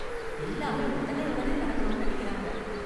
எல்லாமே உடனே உடனே நடக்கணும்னு நினைக்கறாங்க.